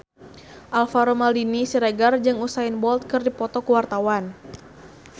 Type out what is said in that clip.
Alvaro Maldini Siregar jeung Usain Bolt keur dipoto ku wartawan